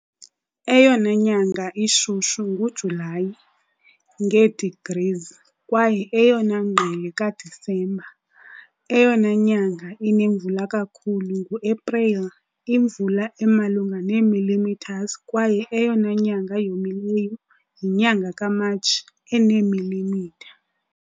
Eyona nyanga ishushu nguJulayi, nge-degrees, kwaye eyona ngqele kaDisemba. Eyona nyanga inemvula kakhulu nguAprili, imvula emalunga ne millimeters, kwaye eyona nyanga yomileyo yinyanga kaMatshi, eneemilimitha .